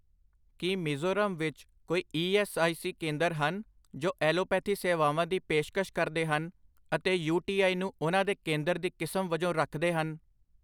ਕੀ ਮਿਜ਼ੋਰਮ ਵਿੱਚ ਕੋਈ E S I C ਕੇਂਦਰ ਹਨ ਜੋ ਐਲੋਪੈਥੀ ਸੇਵਾਵਾਂ ਦੀ ਪੇਸ਼ਕਸ਼ ਕਰਦੇ ਹਨ ਅਤੇ ਯੂ.ਟੀ.ਆਈ ਨੂੰ ਉਹਨਾਂ ਦੇ ਕੇਂਦਰ ਦੀ ਕਿਸਮ ਵਜੋਂ ਰੱਖਦੇ ਹਨ?